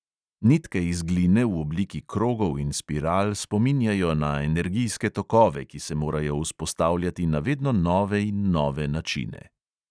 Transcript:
Nitke iz gline v obliki krogov in spiral spominjajo na energijske tokove, ki se morajo vzpostavljati na vedno nove in nove načine.